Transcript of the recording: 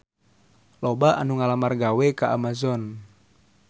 Loba anu ngalamar gawe ka Amazon